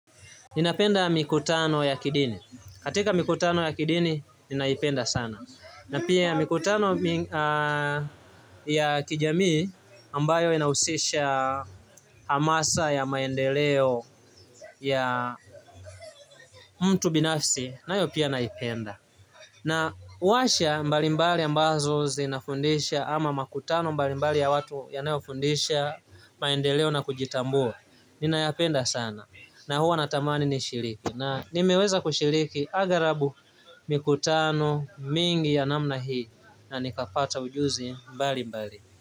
Ninapenda mikutano ya kidini. Katika mikutano ya kidini, ninaipenda sana. Na pia mikutano ya kijamii ambayo inahusisha hamasa ya maendeleo ya mtu binafsi, nayo pia naipenda. Na warsha mbalimbali ambazo zinafundisha ama makutano mbalimbali ya watu yanayofundisha maendeleo na kujitambua, ninayapenda sana. Na huwa natamani nishiriki na nimeweza kushiriki aghalabu mikutano mingi ya namna hii na nikapata ujuzi mbali mbali.